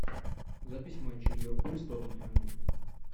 запись матча ливерпуль с тоттенхэмом